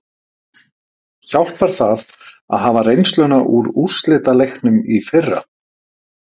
Hjálpar það að hafa reynsluna úr úrslitaleiknum í fyrra?